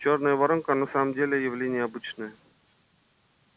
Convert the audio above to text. чёрная воронка на самом деле явление обычное